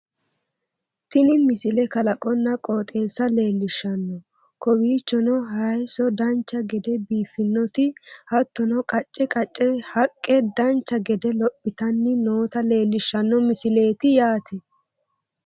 Tini misile. kalaqonna qooxeessa leellishshanno kowiichono hayeesso dancha gede biiffinoti hattono qacce qaccete haqqe dancha gede lophitanni noota leellishshanno misileeti yaate